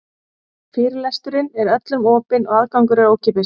Fyrirlesturinn er öllum opinn og aðgangur er ókeypis.